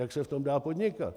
Jak se v tom dá podnikat?